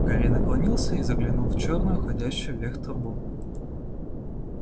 гарри наклонился и заглянул в чёрную уходящую вверх трубу